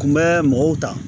Kun bɛ mɔgɔw ta